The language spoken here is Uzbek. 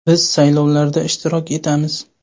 Biz saylovlarda ishtirok etamiz.